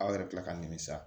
Aw yɛrɛ kila ka nimisa